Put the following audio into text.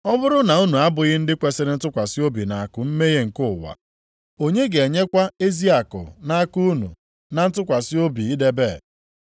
Ọ bụrụ na unu abụghị ndị kwesiri ntụkwasị obi nʼakụ mmehie nke ụwa, onye ga-enyekwa ezi akụ nʼaka unu na ntụkwasị obi idebe?